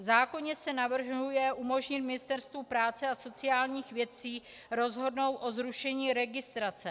V zákoně se navrhuje umožnit Ministerstvu práce a sociálních věcí rozhodnout o zrušení registrace.